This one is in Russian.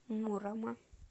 мурома